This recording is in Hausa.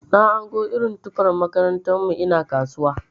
Na hango irin tufan makarantar mu ina kasuwa.